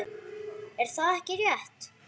Er það ekki rétt?